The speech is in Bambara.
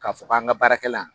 K'a fɔ k'an ka baarakɛlan